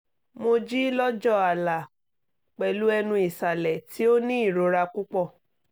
mo jí lọjọ ala pẹlu ẹnu isalẹ ti o ni irora pupọ